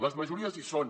les majories hi són